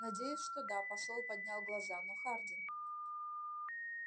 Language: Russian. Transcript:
надеюсь что да посол поднял глаза но хардин